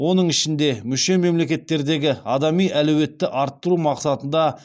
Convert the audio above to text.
оның ішінде мүше мемлекеттердегі адами әлеуетті арттыру мақсатында